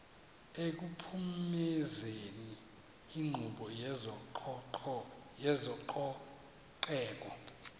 ekuphumezeni inkqubo yezococeko